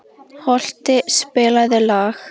Holti, spilaðu lag.